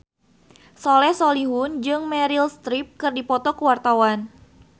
Soleh Solihun jeung Meryl Streep keur dipoto ku wartawan